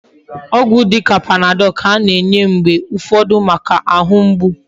Ogwu dika panadol ka ana enye mgbe ufodu Maka ahu mgbu